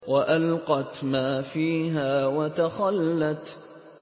وَأَلْقَتْ مَا فِيهَا وَتَخَلَّتْ